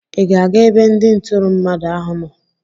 Ị ga-aga ebe ndị ntụrụ mmadụ ahụ nọ?